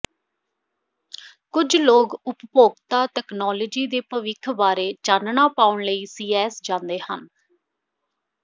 ਕੁਝ ਲੋਕ ਉਪਭੋਗਤਾ ਤਕਨਾਲੋਜੀ ਦੇ ਭਵਿੱਖ ਬਾਰੇ ਚਾਨਣਾ ਪਾਉਣ ਲਈ ਸੀਈਐਸ ਜਾਂਦੇ ਹਨ